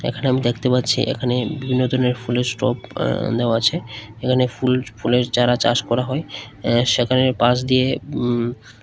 এখানে আমি দেখতে পাচ্ছি এখানে বিভিন্ন ধরনের ফুলের স্টক আ নেওয়া আছে এখানে ফুল ফুলের চারা চাষ করা হয় আ্য সেখানের পাশ দিয়ে উম--